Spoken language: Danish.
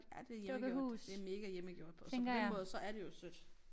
Ja det hjemmegjort det mega hjemmegjort på så på den måde så er det jo sødt